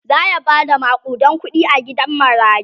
zaya Bada makudan kuɗi a gidan marayun